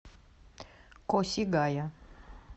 косигая